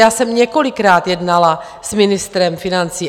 Já jsem několikrát jednala s ministrem financí.